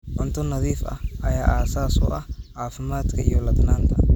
Cunto nadiif ah ayaa aasaas u ah caafimaadka iyo ladnaanta.